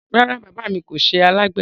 Rárá, baba mi kò ṣẹ alágbedẹ